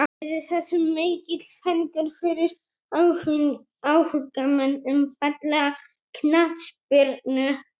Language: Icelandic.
Yrði það mikill fengur fyrir áhugamenn um fallega knattspyrnu.